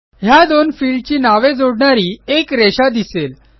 ह्या दोन फील्ड ची नावे जोडणारी एक रेषा दिसेल